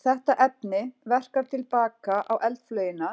Þetta efni verkar til baka á eldflaugina